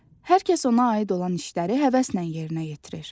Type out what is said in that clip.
Hər kəs ona aid olan işləri həvəslə yerinə yetirir.